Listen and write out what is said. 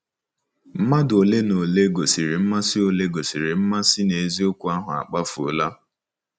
Mmadụ ole na ole gosiri mmasị ole gosiri mmasị n'eziokwu ahụ akpafuola.